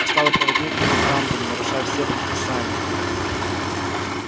усталый проводник курил в тамбуре нарушая все предписания